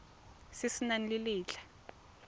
se se nang le letlha